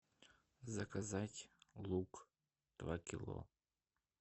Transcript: заказать лук два кило